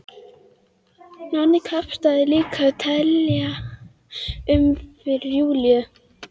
Nonni kappkostaði líka að telja um fyrir Júlíu.